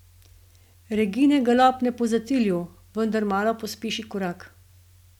Regine ga lopne po zatilju, vendar malo pospeši korak.